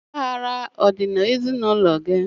Ọgbaghara adị n'ezinaụlọ gị?